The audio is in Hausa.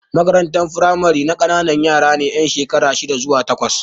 Makarantar firamare na ƙanana yara ne yan shekara shida zuwa takwas.